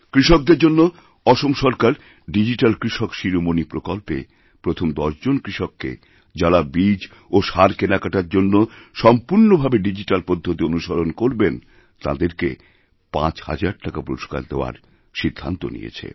কৃষকদের জন্য অসম সরকার ডিজিট্যাল কৃষক শিরোমণি প্রকল্পে প্রথম ১০ জন কৃষককেযাঁরা বীজ ও সার কেনাকাটার জন্য সম্পূর্ণ ভাবে ডিজিট্যাল পদ্ধতি অনুসরণ করবেন তাঁদেরকে৫০০০ টাকা পুরস্কার দেওয়ার সিদ্ধান্ত নিয়েছে